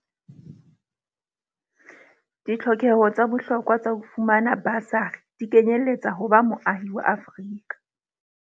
Ditlhokeho tsa bohlokwa tsa ho fumana basari di kenyeletsa ho ba moahi wa Afrika.